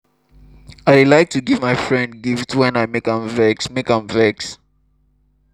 i dey like to give my friend gift wen i make am vex make am vex